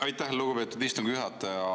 Aitäh, lugupeetud istungi juhataja!